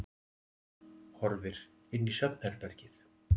Horfir inn í svefnherbergið.